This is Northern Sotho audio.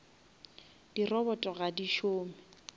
di robot ga di šome